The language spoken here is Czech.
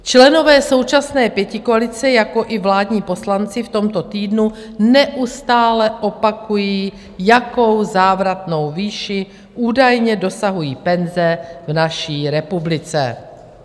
Členové současné pětikoalice, jakož i vládní poslanci v tomto týdnu neustále opakují, jaké závratné výše údajně dosahují penze v naší republice.